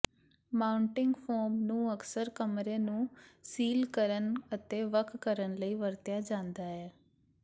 mounting foam ਨੂੰ ਅਕਸਰ ਕਮਰੇ ਨੂੰ ਸੀਲ ਕਰਨ ਅਤੇ ਵੱਖ ਕਰਨ ਲਈ ਵਰਤਿਆ ਜਾਂਦਾ ਹੈ